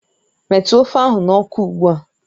Metụ ofe ahụ n'ọkụ ugbu a!